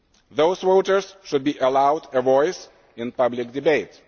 those voters should be allowed a voice in public debate.